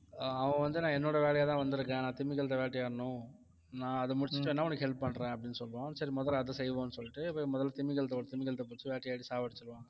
ஆஹ் அவன் வந்து நான் என்னோட வேலையாதான் வந்திருக்கேன் நான் திமிங்கலத்தை வேட்டையாடணும் நான் அதை முடிச்சிட்டேன்னா உனக்கு help பண்றேன் அப்படின்னு சொல்லுவான் சரி முதல்ல அதை செய்வோம்னு சொல்லிட்டு போய் முதல்ல திமிங்கலத்தை ஒரு திமிங்கலத்தை பிடிச்சு வேட்டையாடி சாவடிச்சிடுவான்